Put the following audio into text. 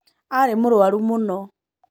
Arĩ mũrũaru mũno.